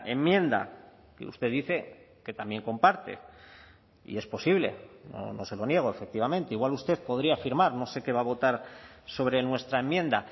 enmienda que usted dice que también comparte y es posible no se lo niego efectivamente igual usted podría afirmar no sé qué va a votar sobre nuestra enmienda